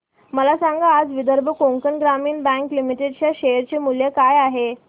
मला सांगा आज विदर्भ कोकण ग्रामीण बँक लिमिटेड च्या शेअर चे मूल्य काय आहे